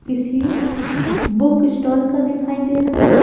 किसी book stall का दिखाई दे रहा--